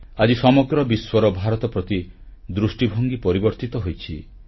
ଆଜି ସମଗ୍ର ବିଶ୍ୱର ଭାରତ ପ୍ରତି ଦୃଷ୍ଟିଭଙ୍ଗୀ ପରିବର୍ତ୍ତିତ ହୋଇଛି